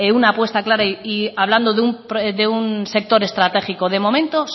una puesta clara y hablando de un sector estratégico de momento